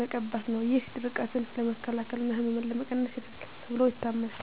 መቀባት ነው። ይህ ድርቀትን ለመከላከል እና ህመምን ለመቀነስ ይረዳል ተብሎ ይታመናል።